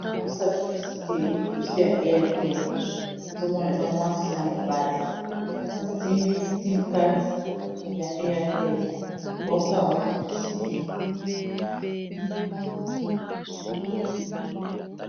Bazo sala publicité, publicité ya Airtel ozo mona eza mwasi na mobali. Ba simbi sim carte ya Airtel, baosala yango publicité.